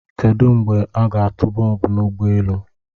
Kedu mgbe a ga-atụ bọmbụ na ụgbọ elu?